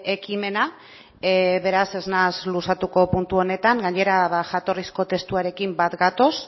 ekimena beraz ez naiz luzatuko puntu honetan gainera jatorrizko testuarekin bat gatoz